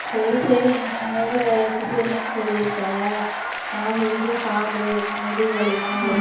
சரி சரி நீ வேற cesarean சொல்லி இருக்க நல்லா healthy யா சாப்பிடு இல்லைன்னா முதுகு வலி எல்லாம் வரும்